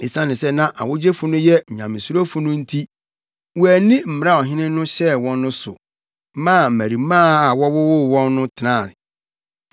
Esiane sɛ na awogyefo no yɛ nyamesurofo no nti, wɔanni mmara a ɔhene no hyɛɛ wɔn no so, maa mmarimaa a wɔwowoo wɔn no tenae.